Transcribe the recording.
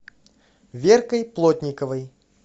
веркой плотниковой